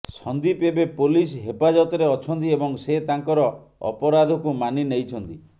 ସନ୍ଦୀପ ଏବେ ପୋଲିସ ହେପାଜତରେ ଅଛନ୍ତି ଏବଂ ସେ ତାଙ୍କର ଅପରାଧକୁ ମାନି ନେଇଛନ୍ତି